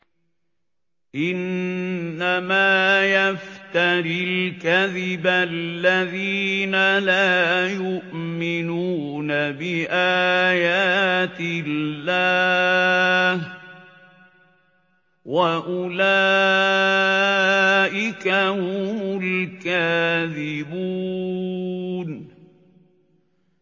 إِنَّمَا يَفْتَرِي الْكَذِبَ الَّذِينَ لَا يُؤْمِنُونَ بِآيَاتِ اللَّهِ ۖ وَأُولَٰئِكَ هُمُ الْكَاذِبُونَ